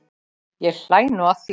Ég hlæ nú að því.